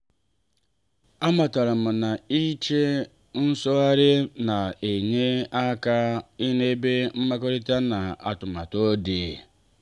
a matara m na-iche nzaghachi na-enye aka n'ebe mmekọrịta na arụmọrụ dị.